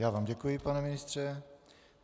Já vám děkuji, pane ministře.